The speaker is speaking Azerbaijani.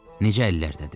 Necə əllərdədir?